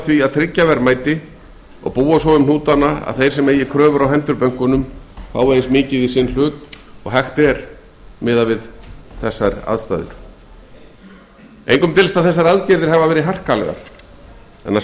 því að tryggja verðmæti og búa svo um hnútana að þeir sem eigi kröfur á hendur bönkunum fái eins mikið í sinn hlut og hægt er engum dylst að þessar aðgerðir eru harkalegar en að